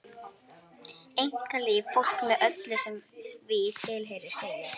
Einkalíf fólks með öllu sem því tilheyrir, segir